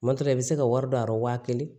Matura i bɛ se ka wari don a la waa kelen